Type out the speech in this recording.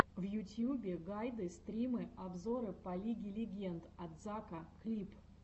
в ютьюбе гайды стримы обзоры по лиге легенд от зака клип